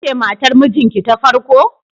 Kece matar mijinki ta farko?